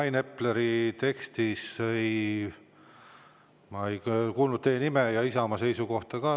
Rain Epleri ma ei kuulnud teie nime ega ka Isamaa seisukohta.